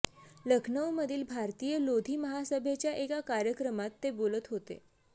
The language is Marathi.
लखनऊमधील भारतीय लोधी महासभेच्या एका कार्यक्रमात ते बोलत होते